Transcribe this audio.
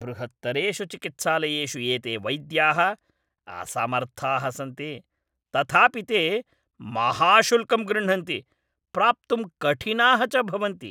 बृहत्तरेषु चिकित्सालयेषु एते वैद्याः असमर्थाः सन्ति, तथापि ते महाशुल्कं गृह्णन्ति, प्राप्तुं कठिनाः च भवन्ति।